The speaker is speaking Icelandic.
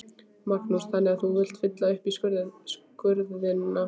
Magnús: Þannig að þú vilt fylla upp í skurðina?